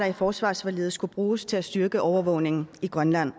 i forsvarsforliget skulle bruges til at styrke overvågningen i grønland